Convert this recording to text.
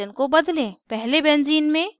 पहले benzene में bromo के साथ